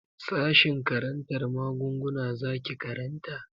Sashen karantar maguguna zaki karanta?